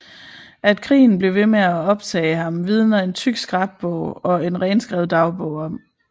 At krigen blev ved med at optage ham vidner en tyk scrapbog og en renskrevet dagbog om